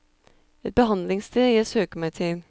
Et behandlingssted jeg søker meg til.